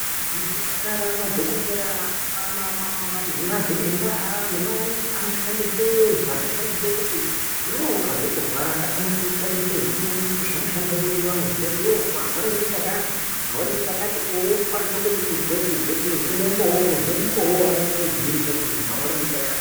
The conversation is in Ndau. Muzvipatara madhokodheya, anazviremba nemanesi anoshandise zvaanoshandise kuti iwewe ukazwa kurwaraka anokushandisire zviro zvanoshandisa ivo zvavanozwa kuti iwewe warwara ngechakati, unokwanise kuzwe umboo hwakanyase kugwinyisa hwekuti muntu unorwara ngechakati.